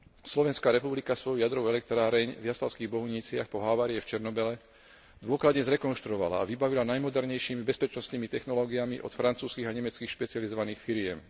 Slovenska republika svoju jadrovú elektráreň v Jaslovských Bohuniciach po havárii v Černobyle dôkladne zrekonštruovala a vybavila najmodernejšími bezpečnostnými technológiami od francúzskych a nemeckých špecializovaných firiem.